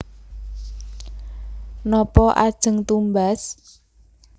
Napa ajeng tumbas